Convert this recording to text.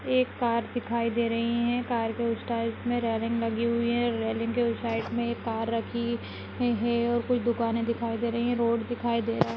एक कार दिखाई दे रही हैकार के साइड में रेलिंग लगी हुई है रेलिंग के साइड में एक कार रखी हुई हैऔर कुछ दुकाने दिखाई दे रही है रोड दिखाई दे रहा है।